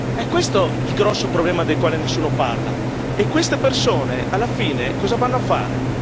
È questo il grosso problema del quale nessuno parla e queste persone alla fine cosa vanno a fare?